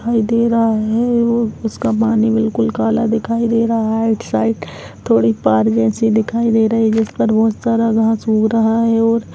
दिखाई दे रहा है और उसका पानी बिलकुल कला दिखाई दे रहा है आइड साइड थोड़ी पार जैसी दिखाई दे रही है जिस पर बहोत सारा घास ऊग रहा है और--